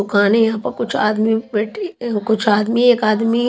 दुकानें यहाँ प कुछ आदमी बैठे अ कुछ आदमी एक आदमी --